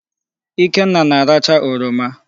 Ikenna na-arachaa oroma.